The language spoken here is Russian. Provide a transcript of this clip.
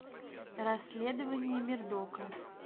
расследование мердока